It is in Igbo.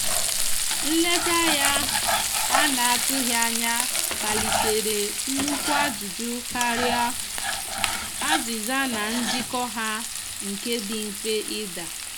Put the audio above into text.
nleta ya ana atụghi anya kpalitere nukwụ ajụjụ karịa azìza na njiko ha nke di mfe ida